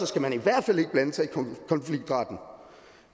skal man i hvert fald ikke blande sig i konfliktretten